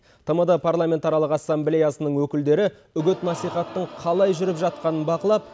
тмд парламентаралық ассамблеясының өкілдері үгіт насихаттың қалай жүріп жатқанын бақылап